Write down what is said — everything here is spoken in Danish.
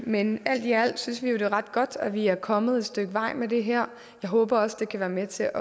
men alt i alt synes vi jo det er ret godt at vi er kommet et stykke vej med det her jeg håber også det kan være med til